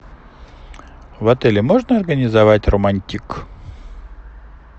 в отеле можно организовать романтик